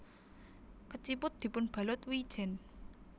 Keciput dipunbalut wijen